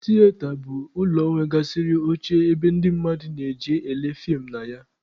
Tiyeta bụ ụlọ nwegasịrị oche ebe ndị mmadụ na-eje ele feem na ya.